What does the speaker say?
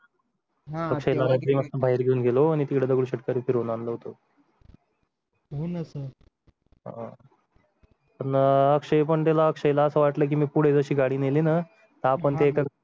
हा तुमच्या घरातले बाहेर घेऊन गेलो आणि तिकडे दगडूशेठ फिरून आणलं होतं हो ना sir हा पुन्हा अक्षय पण त्याला अक्षयला असं वाटलं की मी पुढे अशी गाडी नेली ना तर आपण काय